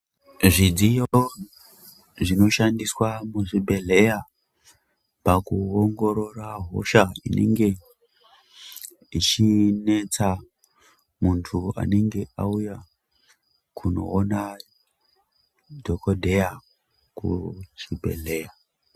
Zvidziyo zvinoshandiswa muzvibhedhlera pakuongorora hosha inenge ichinetsa muntu anenge auya kunoona dhokodheya kuchibhedhlera.